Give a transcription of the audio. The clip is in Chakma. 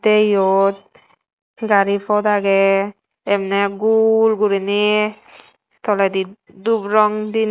the iyot gari phot age emne gul guriney toledi dhup rong dine.